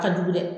A ka jugu dɛ